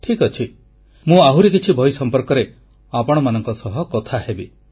ଠିକ୍ ଅଛି ମୁଁ ଆହୁରି କିଛି ବହି ସମ୍ପର୍କରେ ଆପଣମାନଙ୍କ ସହ କଥା ହେବି